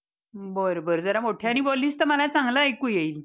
हम्म दोन दिवस gathering असतंय. आणि एक आठवडाभर अं sports असतंय.